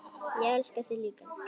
Ég elska þig líka.